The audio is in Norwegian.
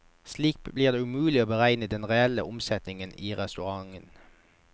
Slik blir det umulig å beregne den reelle omsetningen i restauranten.